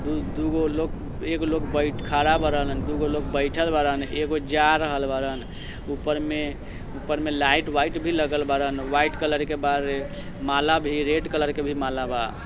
दू-दुगो लोग एगो लोग बैठ खड़ा बाडन दुगो लोग बइठल बाडन एगो जा रहल बाडन। ऊपर मे ऊपर मे लाइट वाइट भी लगल बाडन वाइट कलर के बाड़े माला भी रेड कलर के भी माला बा।